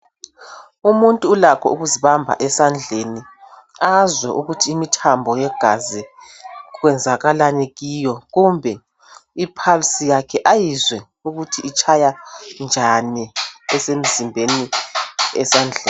Umuntu ulakho ukuzibamba esandleni azwe ukuthi imthambo yegazi kwenzakalani kiyo kumbe iphalisi yakhe ayizwe ukuthi itshaya njani emzimbeni esandleni.